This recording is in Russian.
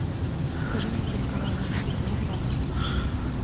покажи мне телеканал матч футбол два на телевизоре